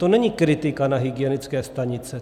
To není kritika na hygienické stanice.